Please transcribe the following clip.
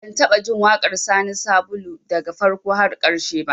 Ban taɓa jin waƙar Sani Sabulu daga farko har ƙarshe ba